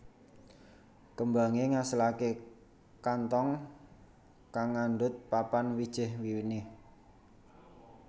Kembangé ngasilaké kanthong kang ngandhut papat wiji winih